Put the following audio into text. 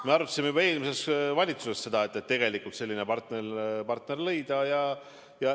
Me arutasime juba eelmises valitsuses, et tegelikult selline partner tuleks leida.